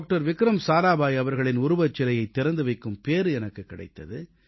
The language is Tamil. விக்ரம் சாராபாய் அவர்களின் உருவச்சிலையைத் திறந்து வைக்கும் வாய்ப்பு எனக்குக் கிடைத்தது